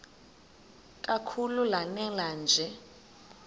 kakhulu lanela nje